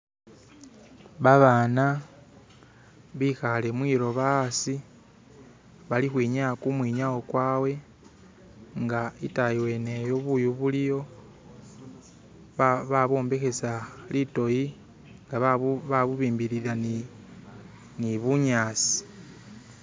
Babana bikhale mwiloba hasi bali kwinyaya kumwinyawo kwawe nga itayi weneyo buyu buliyo ba babombekhes litoyi nga ba babubimbilila ni ni bunyaasi